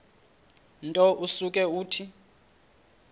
nto usuke uthi